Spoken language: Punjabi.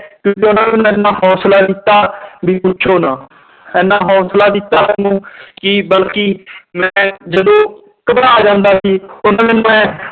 ਕਿਉਂਕਿ ਉਹਨਾਂ ਨੇ ਹੌਸਲਾ ਦਿੱਤਾ ਵੀ ਪੁੱਛੋ ਨਾ ਇੰਨਾ ਹੌਸਲਾ ਦਿੱਤਾ ਮੈਨੂੰ ਕਿ ਬਲਕਿ ਮੈਂ ਜਦੋਂ ਘਬਰਾ ਜਾਂਦਾ ਸੀ